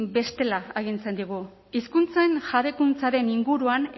bestela agintzen digu hizkuntzen jabekuntza den inguruan